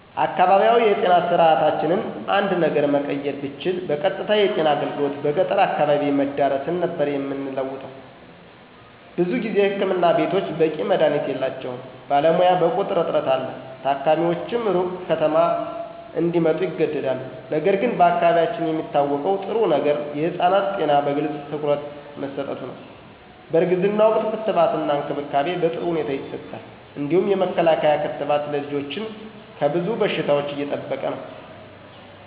አካባቢያዊ የጤና ስርዓታችንን አንድ ነገር መቀየር ብችል በቀጥታ የጤና አገልግሎት በገጠር አካባቢ መዳረስን ነበር የምንለውጠው። ብዙ ጊዜ ህክምና ቤቶች በቂ መድሀኒት የላቸውም፣ ባለሙያ በቁጥር እጥረት አለ፣ ታካሚዎችም ሩቅ ከተማ እንዲመጡ ይገደዳሉ። ነገር ግን በአካባቢያችን የሚታወቀው ጥሩ ነገር የህፃናት ጤና በግልጽ ትኩረት መሠጠቱ ነው፣ በእርግዝና ወቅት ክትባትና እንክብካቤ በጥሩ ሁኔታ ይሰጣል። እንዲሁም የመከላከያ ክትባት ልጆችን ከብዙ በሽታዎች እየጠበቀ ነው።